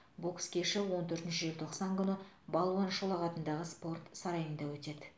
бокс кеші он төртінші желтоқсан күні балуан шолақ атындағы спорт сарайында өтеді